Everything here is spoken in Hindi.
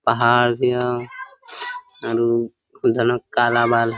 पहाड़ भी हो आरु उधर न काला बाल --